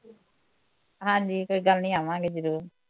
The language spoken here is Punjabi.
ਹਾਂਜੀ ਕੋਈ ਗੱਲ ਨੀ ਆਵਾਂਗੇ ਜ਼ਰੂਰ